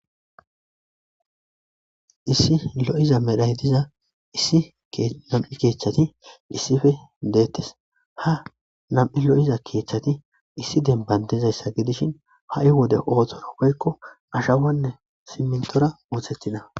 issi lo7iza medhay diza issi nam7i keechchati issife deettes ha nam7i lo7iza keechchati issi denbandizayssa gidishin ha7i wode ooththora woykko ashawanne simmintora ooththettina